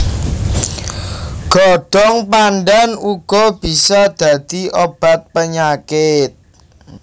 Godhong pandhan uga bisa dadi obat penyakit